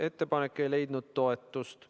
Ettepanek ei leidnud toetust.